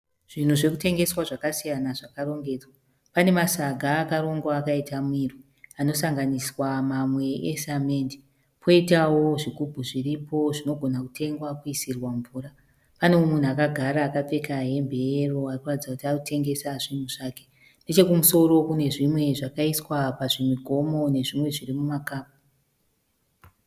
Zvinhu zvekutengeswa zvakasiyana zvakarongedzwa . Pane masaga akarongwa akaita mirwi anosanganiswa mamwe e samende. Poitawo zvigubhu zviripo zvinogona kutengwa kuisirwa mvura. Pane mumwe munhu akagara akapfeka hembe ye yero arikuratidza kuti arikutengesa zvinhu zvake. Nechekumusoro kune zvimwe zvakaiswa pazvimugomo nezvimwe zviri muma kapu.